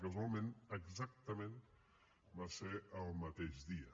casualment exactament va ser el mateix dia